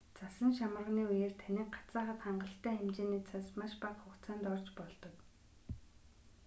цасан шамарганы үеэр таныг гацаахад хангалттай хэмжээний цас маш бага хугацаанд орж болдог